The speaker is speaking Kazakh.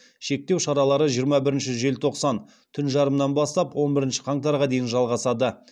шектеу шаралары жиырма бірінші желтоқсан түн жарымынан бастап он бірінші қаңтарға дейін жалғасады